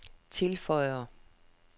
tilføjer